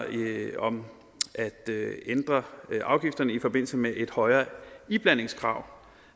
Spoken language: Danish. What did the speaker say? om at ændre afgifterne i forbindelse med et højere iblandingskrav